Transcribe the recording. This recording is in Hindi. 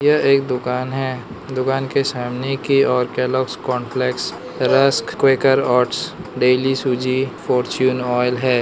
यह एक दुकान है दुकान के सामने की ओर Kellogg's cornflakes rusk Quaker oats daily सूजी फॉर्च्यून ऑयल है।